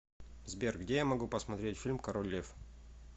сбер где я могу посмотреть фильм король лев